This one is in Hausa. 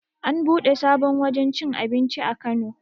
An buɗe sabon wajen cin abinci a kano